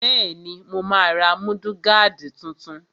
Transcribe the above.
Bẹ́ẹ̀ni, mo máa ra múdúgáàdì tuntun